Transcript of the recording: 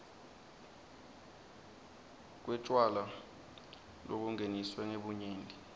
kwetjwala lobungeniswe ngebunyenti